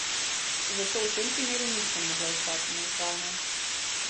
Zato v tem primeru nisem mogla ostati nevtralna.